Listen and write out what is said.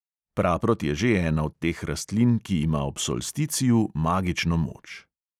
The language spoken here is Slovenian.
Praprot je že ena od teh rastlin, ki ima ob solsticiju magično moč.